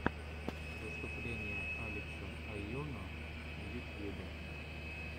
выступление алекса айоно в ютьюбе